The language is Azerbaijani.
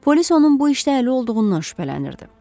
Polis onun bu işdə əli olduğundan şübhələnirdi.